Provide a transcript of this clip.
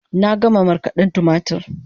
Na gama markaden tumatur